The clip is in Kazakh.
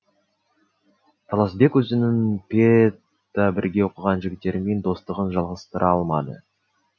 таласбек өзінің педта бірге оқыған жігіттермен достығын жалғастыра алмады